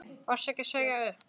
Varstu ekki að segja upp?